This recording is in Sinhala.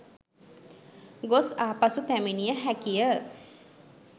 ගොස් ආපසු පැමිණිය හැකිය